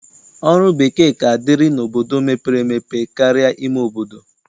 Ọrụ bekee ka dịrị n'obodo mepere emepe karịa ime obodo.